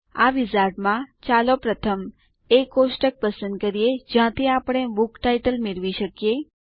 આ વિઝાર્ડ માં ચાલો પ્રથમ એ કોષ્ટક પસંદ કરીએ જ્યાંથી આપણે બુક ટાઇટલ મેળવી શકીએ